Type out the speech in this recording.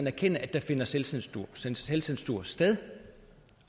erkende at der finder selvcensur selvcensur sted